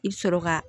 I bɛ sɔrɔ ka